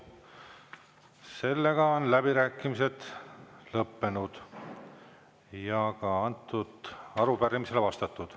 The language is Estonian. Sellega on läbirääkimised lõppenud ja ka antud arupärimisele vastatud.